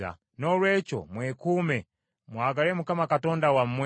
Noolwekyo mwekuume, mwagale Mukama Katonda wammwe,